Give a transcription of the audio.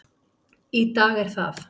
Í dag er það